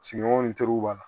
Sigiɲɔgɔnw n teriw b'a la